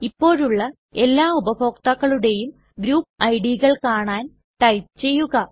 ഇപ്പോഴുള്ള എല്ലാ ഉപഭോക്താക്കളുടേയും ഗ്രൂപ്പ് idകൾ കാണാൻ ടൈപ്പ് ചെയ്യുക